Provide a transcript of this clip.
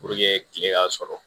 Puruke tile ka sɔrɔ